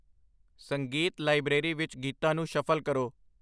ਸੰਗੀਤ ਲਾਇਬ੍ਰੇਰੀ ਵਿੱਚ ਗੀਤਾਂ ਨੂੰ ਸ਼ਫਲ ਕਰੋ